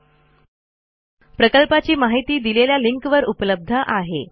सदर प्रकल्पाची माहिती देणारा व्हिडीओ खालील लिंकवर उपलब्ध आहे